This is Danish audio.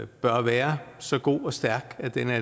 bør være så god og stærk at den er